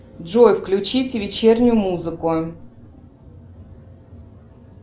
джой включить вечернюю музыку